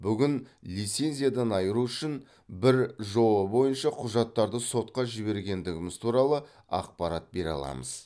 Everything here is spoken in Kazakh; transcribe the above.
бүгін лицензиядан айыру үшін бір жоо бойынша құжаттарды сотқа жібергендіміз туралы ақпарат бере аламыз